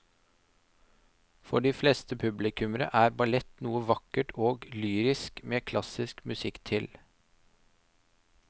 For de fleste publikummere er ballett noe vakkert og lyrisk med klassisk musikk til.